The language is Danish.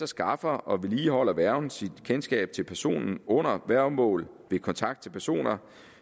skaffer og vedligeholder værgen sit kendskab til personen under værgemål ved kontakt til personer